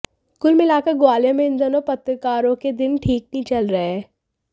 कुल मिलाकर ग्वालियर में इन दिनों पत्रकारों के दिन ठीक नहीं चल रहे हैं